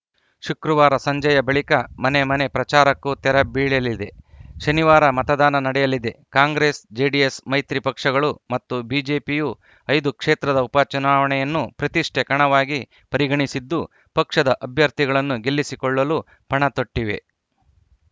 ಶುಕ್ರವಾರ ಸಂಜೆಯ ಬಳಿಕ ಮನೆ ಮನೆ ಪ್ರಚಾರಕ್ಕೂ ತೆರ ಬೀಳಲಿದೆ ಶನಿವಾರ ಮತದಾನ ನಡೆಯಲಿದೆ ಕಾಂಗ್ರೆಸ್‌ಜೆಡಿಎಸ್‌ ಮೈತ್ರಿ ಪಕ್ಷಗಳು ಮತ್ತು ಬಿಜೆಪಿಯು ಐದು ಕ್ಷೇತ್ರದ ಉಪಚುನಾವಣೆಯನ್ನು ಪ್ರತಿಷ್ಠೆ ಕಣವಾಗಿ ಪರಿಗಣಿಸಿದ್ದು ಪಕ್ಷದ ಅಭ್ಯರ್ಥಿಗಳನ್ನು ಗೆಲ್ಲಿಸಿಕೊಳ್ಳಲು ಪಣತೊಟ್ಟಿವೆ